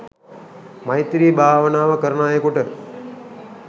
මෛත්‍රී භාවනාව කරන අයෙකුට